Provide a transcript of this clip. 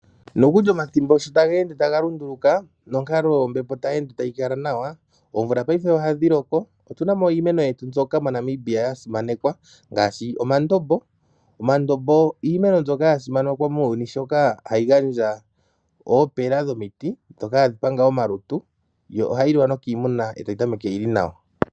Nokuli omathimbo sho taga ende taga lunduluka nonkalo yombepo tayi ende tayi kala nawa oomvula payife ohadhi loko . Otunamo iimeno yetu mbyoka mo Namibia yasimanekwa ngaashi omandombo. Omandombo iimeno mbyoka ya simanekwa muuyuni shoka hayi gandja oopela dhomiti ndhoka hadhi panga omalutu dho ohadhi liwa nokiimuna e tayi tameke yili nawa.